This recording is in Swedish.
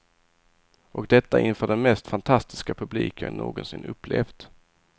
Och detta inför den mest fantastiska publik jag någonsin upplevt.